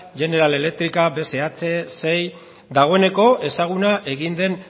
general electrica bsh dagoeneko ezaguna egin den